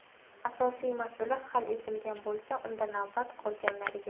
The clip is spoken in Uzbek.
Asosiy masala hal etilgan bo‘lsa, unda navbat qolganlariga.